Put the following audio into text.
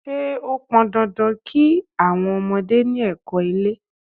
Ṣé ó pọn dandan kí àwọn ọmọdé ni ẹ̀kọ́-ilé?